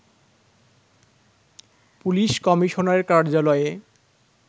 police কমিশনারের কার্যালয়ে